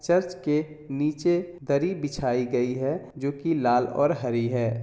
Church के निचे दरी बिछाई गयी है जो की लाल और हरी है।